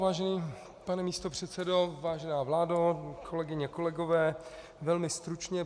Vážený pane místopředsedo, vážená vládo, kolegyně, kolegové, velmi stručně.